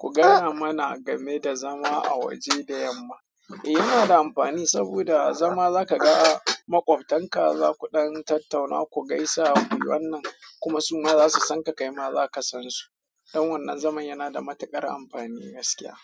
Ku gaya mana game da zama a waje da yamma. Eh, yana da amfani saboda zama zaka ga makwabtan ka, zaku ɗan tattauna, ku gaisa ku yi wannan kuma su ma za su san ka, kai ma za ka san su. Ɗan wannan zaman yana da matuƙar amfani gaskiya